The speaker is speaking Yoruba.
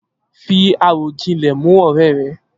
Fi àròjinlè mú òré re